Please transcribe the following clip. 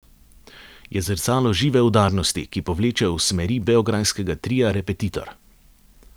Je zrcalo žive udarnosti, ki povleče v smeri beograjskega tria Repetitor.